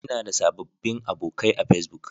Ina da sababbin abokai a Facebook.